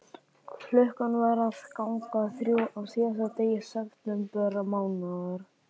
Klukkan var að ganga þrjú á síðasta degi septembermánaðar.